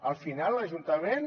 al final l’ajuntament